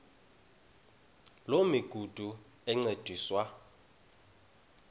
loo migudu encediswa